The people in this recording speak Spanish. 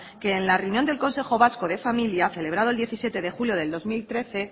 que en la reunión del consejo vasco de familia celebrado el diecisiete de julio de dos mil trece